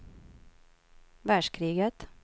världskriget